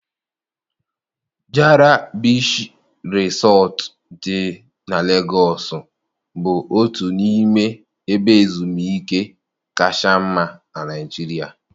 Jara Bichii Resọt dị na Legosu bụ otu n'ime ebe ezumike kacha mma na Nigeria.